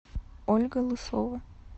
ольга лысова